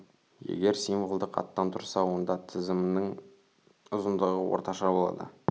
егер символдық аттан тұрса онда тізімнің ұзындығы орташа болады